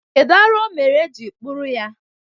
Kedụ arụ ọ mere e ji kpụrụ ya?